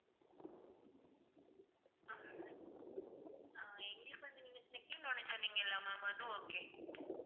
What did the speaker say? ஆஹ் எங்களுக்கு வந்து நீங்க second one சொன்னீங்கல்ல ma'am அது okay